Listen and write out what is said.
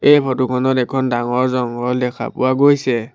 এই ফটো খনত এখন ডাঙৰ জংঘল দেখা পোৱা গৈছে।